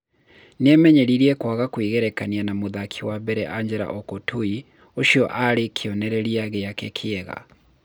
Nĩemenyereire kwaga kwĩgerekania na mũthaki wa mbere Angela Okutoyi ũcio arĩwe kĩonereria gĩake kĩega